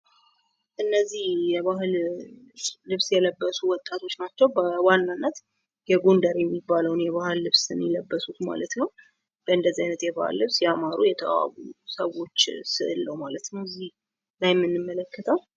እነዚህ የባህል የለበሱ ወጣቶች ናቸዉ። በዋናነት የጎንደር የሚባለዉን የባህል ልብስ ነዉ የለበሱት ማለት ነዉ። በእንደዚህ አይነት የባህል ልብስ ያማሩ የተዋቡ ሰዎች ስዕል ነዉ ማለት ነዉ የምንመለከተዉ።